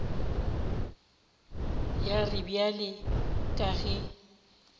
ya re bjale ka ge